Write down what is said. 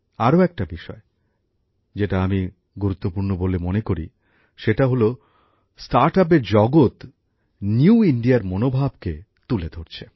আরও একটা বিষয় যেটা আমি গুরুত্বপূর্ণ বলে মনে করি সেটা হল স্টার্টআপের জগৎ নতুন ভারতের মনোভাবকে তুলে ধরছে